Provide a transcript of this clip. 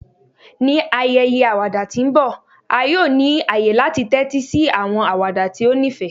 Ni ayẹyẹ awada ti nbọ, a yoo ni aye lati tẹtisi awọn awada ti o nifẹ